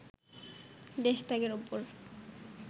দেশ ত্যাগের ওপর